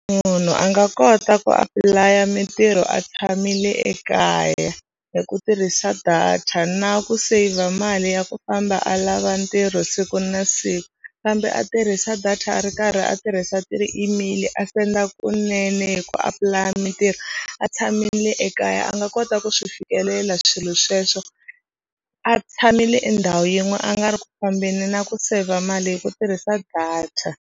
Munhu a nga kota ku apply-a mitirho a tshamile ekaya hi ku tirhisa data na ku saver mali ya ku famba a lava ntirho siku na siku kambe a tirhisa data a ri karhi a tirhisa ti-email a senda kunene hi ku apulaya mitirho a tshamile ekaya a nga kota ku swi fikelela swilo sweswo a tshamile endhawu yin'we a nga ri ku fambeni na ku saver mali hi ku tirhisa data.